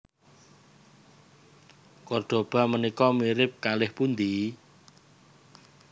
Kordoba menika mirip kalih pundi?